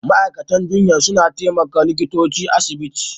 Ma'aikatan jinya suna taimakon likitoci a'asibiti.